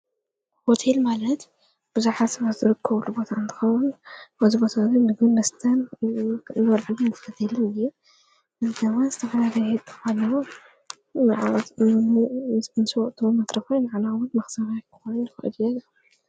ወትል ማለድ ብዙኃ ስበዘርክ ልቦትኣንታኸዉን ወዝበታዙ ምግል ምስታን ነበልዕን ዘከትልር እልቲዋን ዝተሕልርት ተኸን ዓትሙምስዕ መትረፈኢን ዓላዓሙድ ማኽሳማኾነፈኣድየገ።